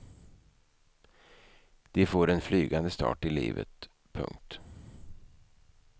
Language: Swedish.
De får en flygande start i livet. punkt